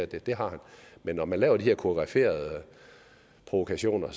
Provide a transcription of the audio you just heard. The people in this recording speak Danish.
det det har han man når man laver de her koreograferede provokationer